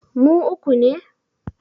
Mu uku ne